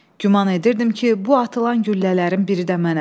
Güman edirdim ki, bu atılan güllələrin biri də mənəm.